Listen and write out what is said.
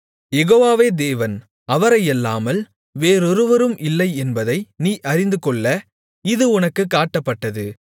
யெகோவாவே தேவன் அவரையல்லாமல் வேறொருவரும் இல்லை என்பதை நீ அறிந்துகொள்ள இது உனக்குக் காட்டப்பட்டது